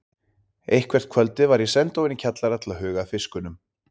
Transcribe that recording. Eitthvert kvöldið var ég send ofan í kjallara til að huga að fiskunum.